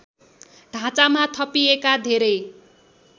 ढाँचामा थपिएका धेरै